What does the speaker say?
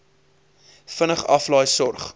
vinnig aflaai sorg